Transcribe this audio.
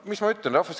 " No mis ma ütlen?